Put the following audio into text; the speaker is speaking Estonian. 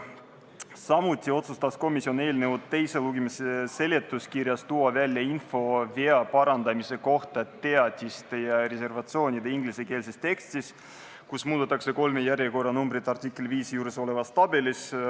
Samuti otsustas komisjon eelnõu teise lugemise seletuskirjas tuua välja info vea parandamise kohta teatiste ja reservatsioonide ingliskeelses tekstis, kus muudetakse kolme järjekorranumbrit artikli 5 juures olevas tabelis.